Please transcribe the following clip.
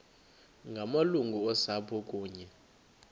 ngamalungu osapho kunye